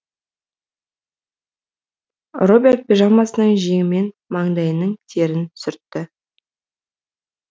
роберт пижамасының жеңімен маңдайының терін сүртті